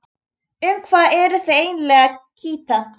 Um hvað eruð þið eiginlega að kýta?